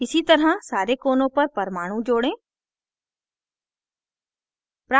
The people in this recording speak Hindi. इसी तरह सारे कोनों पर परमाणु जोड़ें